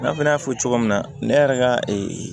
I n'a fɔ n y'a fɔ cogo min na ne yɛrɛ ka